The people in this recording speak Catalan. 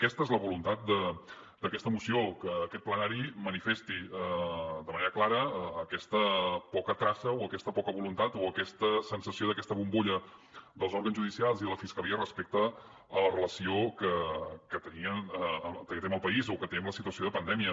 aquesta és la voluntat d’aquesta moció que aquest ple manifesti de manera clara aquesta poca traça o aquesta poca voluntat o aquesta sensació d’aquesta bombolla dels òrgans judicials i de la fiscalia respecte a la relació que tenien que té amb el país o que té amb la situació de pandèmia